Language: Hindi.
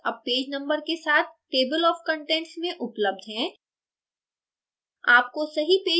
सारे शीर्षक all पेज numbers के साथ table of contents में उपलब्ध हैं